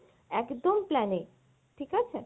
একদম plan এ ঠিক আছে?